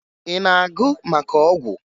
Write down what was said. Ị na-agụ maka ọgwụ?